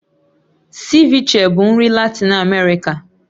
Ceviche bụ nri Latin Amerika